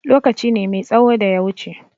Lokaci ne mai tsaho da ya wuce.